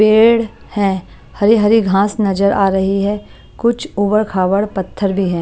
पेड़ है हरी हरी घास नजर आ रही है कुछ ऊबड़ खाबड़ पत्थर भी हैं।